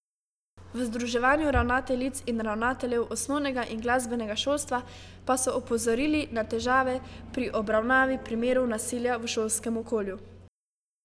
V Združenju ravnateljic in ravnateljev osnovnega in glasbenega šolstva pa so opozorili na težave pri obravnavi primerov nasilja v šolskem okolju.